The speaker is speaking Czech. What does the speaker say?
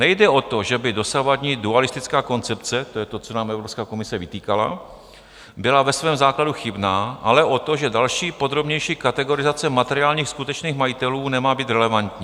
Nejde o to, že by dosavadní dualistická koncepce - to je to, co nám Evropská komise vytýkala - byla ve svém základu chybná, ale o to, že další podrobnější kategorizace materiálních skutečných majitelů nemá být relevantní.